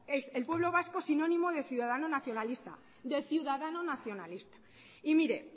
es el pueblo vasco sinónimo de ciudadano nacionalista de ciudadano nacionalista y mire